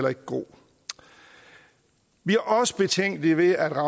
er god vi er også betænkelige ved at